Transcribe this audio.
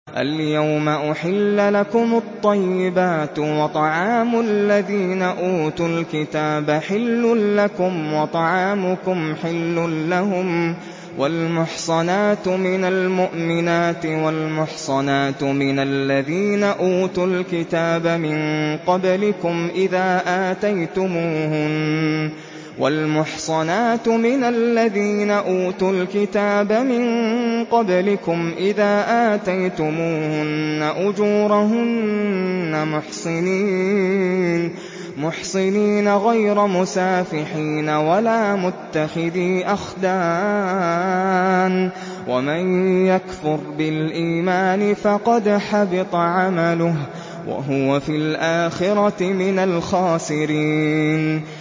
الْيَوْمَ أُحِلَّ لَكُمُ الطَّيِّبَاتُ ۖ وَطَعَامُ الَّذِينَ أُوتُوا الْكِتَابَ حِلٌّ لَّكُمْ وَطَعَامُكُمْ حِلٌّ لَّهُمْ ۖ وَالْمُحْصَنَاتُ مِنَ الْمُؤْمِنَاتِ وَالْمُحْصَنَاتُ مِنَ الَّذِينَ أُوتُوا الْكِتَابَ مِن قَبْلِكُمْ إِذَا آتَيْتُمُوهُنَّ أُجُورَهُنَّ مُحْصِنِينَ غَيْرَ مُسَافِحِينَ وَلَا مُتَّخِذِي أَخْدَانٍ ۗ وَمَن يَكْفُرْ بِالْإِيمَانِ فَقَدْ حَبِطَ عَمَلُهُ وَهُوَ فِي الْآخِرَةِ مِنَ الْخَاسِرِينَ